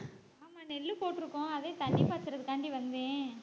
ஆமா நெல்லு போட்டுருக்கோம் அதே தண்ணி பாச்சறத்துக்காண்டி வந்தேன்